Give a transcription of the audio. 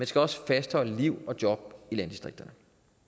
skal også fastholde liv og job i landdistrikterne